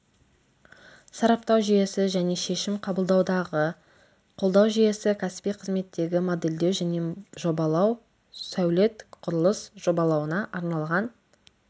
сараптау жүйесі және шешім қабылдаудағы қолдау жүйесі кәсіби қызметтегі модельдеу және жобалау сәулет құрылыс жобалауына арналған